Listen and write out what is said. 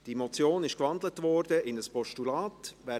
Die Motion wurde in ein Postulat gewandelt.